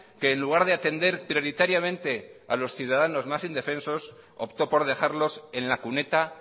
que en lugar de atender prioritariamente a los ciudadanos más indefensos optó por dejarlos en la cuneta